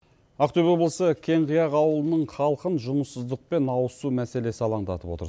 ақтөбе облысы кеңқияқ ауылының халқын жұмыссыздық пен ауызсу мәселесі алаңдатып отыр